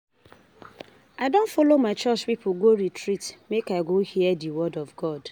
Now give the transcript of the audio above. I don folo my church pipo go retreat make I go hear di word of God.